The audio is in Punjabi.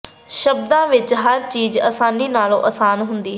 ਸ਼ਬਦਾਂ ਵਿਚ ਹਰ ਚੀਜ ਆਸਾਨੀ ਨਾਲੋਂ ਆਸਾਨ ਹੁੰਦੀ ਹੈ